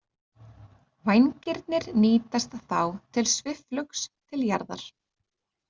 Vængirnir nýtast þá til svifflugs til jarðar.